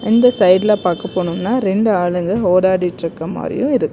இந்த சைடுல பாக்க போனோம்னா ரெண்டு ஆளுங்க ஓடாடிட்டுருக்க மாதிரியும் இருக்கு.